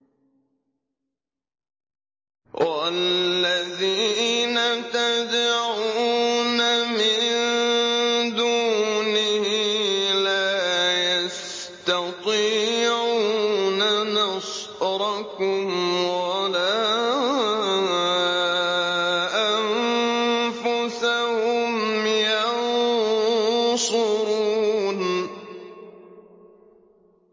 وَالَّذِينَ تَدْعُونَ مِن دُونِهِ لَا يَسْتَطِيعُونَ نَصْرَكُمْ وَلَا أَنفُسَهُمْ يَنصُرُونَ